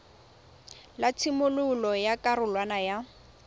la tshimololo ya karolwana ya